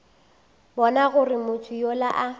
bona gore motho yola a